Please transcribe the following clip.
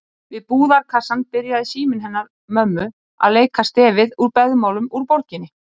Við búðarkassann byrjaði síminn hennar mömmu að leika stefið úr Beðmálum úr borginni.